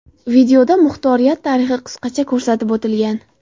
Videoda muxtoriyat tarixi qisqacha ko‘rsatib o‘tilgan.